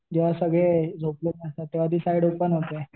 जेंव्हा सगळे झोपलेला असतात तेंव्हा ती साईड ओपन होते.